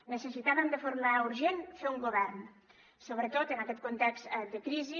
necessitàvem de forma urgent fer un govern sobretot en aquest context de crisi